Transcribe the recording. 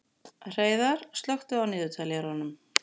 Hreiðar, slökktu á niðurteljaranum.